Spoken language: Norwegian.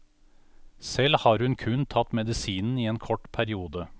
Selv har hun kun tatt medisinen i en kort periode.